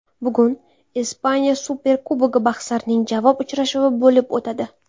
Bugun Ispaniya Superkubogi bahslarining javob uchrashuvi bo‘lib o‘tadi.